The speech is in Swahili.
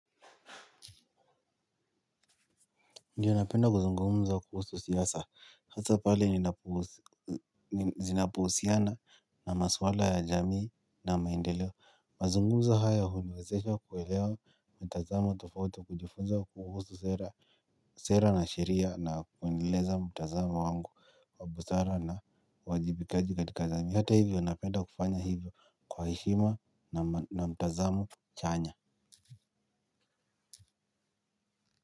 Ndiyo napenda kuzungumza kuhusu siasa, hasa pale zinapo husiana na maswala ya jamii na maendeleo. Mazungumzo haya huniwezesha kuwelewa mtazamo tofauti kujifunza kuhusu sera na sheria na kueleleza mtazamo wangu wa busara na uwajibikaji katika jamii. Hata hivyo napenda kufanya hivyo kwa heshima na mtazamo chanya.